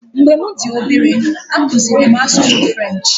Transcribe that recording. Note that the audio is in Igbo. Mgbe m dị obere, akụziri m asụsụ French.